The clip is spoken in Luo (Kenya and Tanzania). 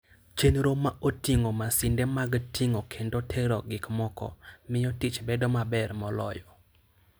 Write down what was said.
Chenro ma oting'o masinde mag ting'o kendo tero gik moko, miyo tich bedo maber moloyo.